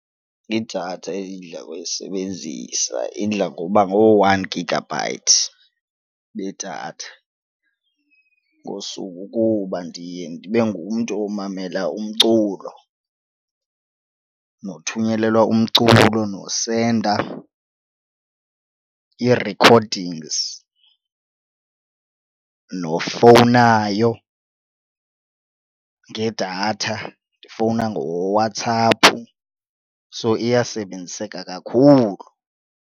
Idatha endidla ngoyisebenzisa idla ngokuba ngoo-one gigabyte bedatha ngosuku kuba ndiye ndibe ngumntu omamela umculo nothunyelelwa umculo nosenda ii-recordings nofowunayo ngedatha ndifowuna ngoWhatsApp, so iyasebenziseka kakhulu.